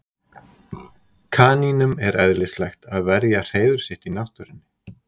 Kanínum er eðlislægt að verja hreiður sitt í náttúrunni.